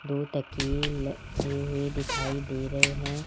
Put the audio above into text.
दो तकिए लगे हुए दिखाई दे रहे हैं।